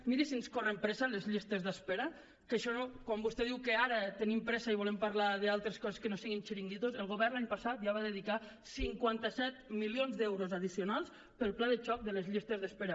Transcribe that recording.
miri si ens corren pressa les llistes d’espera que quan vostè diu que ara tenim pressa i volem parlar d’altres coses que no siguin xiringuitos el govern l’any passat ja va dedicar cinquanta set milions d’euros addicionals per al pla de xoc de les llistes d’espera